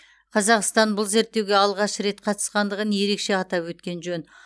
қазақстан бұл зерттеуге алғаш рет қатысқандығын ерекше атап өткен жөн